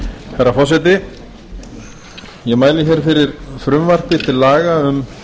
herra forseti ég mæli fyrir hér fyrir frumvarpi til laga um